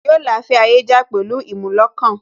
Yóò la afẹ́ ayé já pẹ̀lú ìmúlọkàn